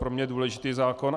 Pro mě důležitý zákon.